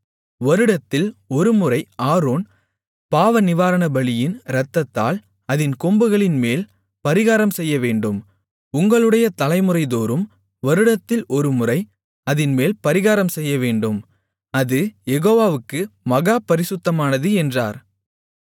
வருடத்தில் ஒருமுறை ஆரோன் பாவநிவாரணபலியின் இரத்தத்தால் அதின் கொம்புகளின்மேல் பரிகாரம் செய்யவேண்டும் உங்களுடைய தலைமுறைதோறும் வருடத்தில் ஒருமுறை அதின்மேல் பரிகாரம் செய்யவேண்டும் அது யெகோவாவுக்கு மகா பரிசுத்தமானது என்றார்